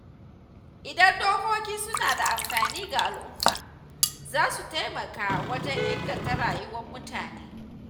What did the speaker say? Idan dokoki suna da amfani ga al’umma, za su taimaka wajen inganta rayuwar mutane.